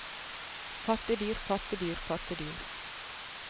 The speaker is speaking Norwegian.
pattedyr pattedyr pattedyr